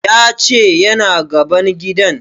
Ya ce yana gaban gidan